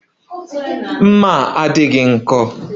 Mma a bụ